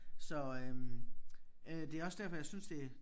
Så øh øh det også derfor jeg synes det